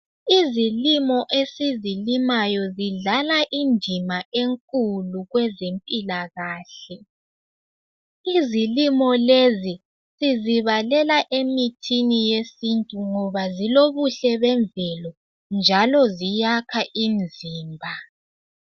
Izilimo esizilimayo zidlala indima enkulu kwezempilakahle. Izilimo lezi sizibalela emithini yesintu ngoba zilobuhle bemvelo, njalo ziyakha imizimba.